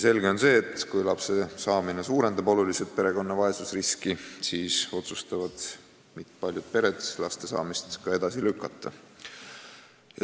Selge on see, et kui lapse saamine suurendab oluliselt vaesusriski, siis otsustavad paljud pered lastesaamist edasi lükata.